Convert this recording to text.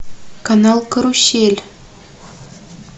канал карусель